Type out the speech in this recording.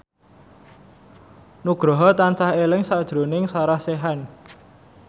Nugroho tansah eling sakjroning Sarah Sechan